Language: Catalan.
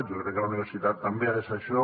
jo crec que la universitat també ha de ser això